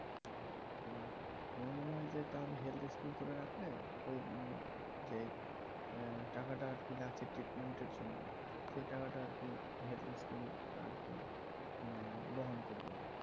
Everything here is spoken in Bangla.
আমার মনে হয় যে healthy scheme করে রাখলে ওই যে টাকাটা লাগছে ট্রিটমেন্টের জন্য সে টাকাটা আর কি healthy scheme আর কি বহন করবে